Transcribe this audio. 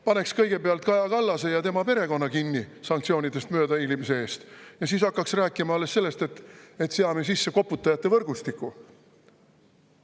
Paneks kõigepealt Kaja Kallase ja tema perekonna kinni sanktsioonidest möödahiilimise eest ja siis hakkaks rääkima alles sellest, et seame sisse koputajate võrgustiku.